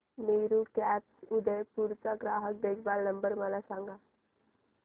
Meru cabs Udaipur चा ग्राहक देखभाल नंबर मला सांगा